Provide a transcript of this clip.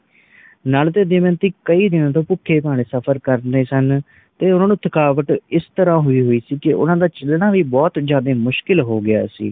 ਤੇ ਓਹਨਾ ਨੂੰ ਥਕਾਵਟ ਇਸ ਤਰ੍ਹਾਂ ਹੋਈ ਹੁਈ ਸੀ ਕਿ ਓਹਨਾ ਦਾ ਚਲਣਾ ਵੀ ਬੋਹੋਤ ਜ਼ਿਆਦਾ ਮੁਸ਼ਕਿਲ ਹੋ ਗਿਆ ਸੀ